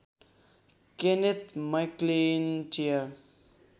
Kenneth McIntyre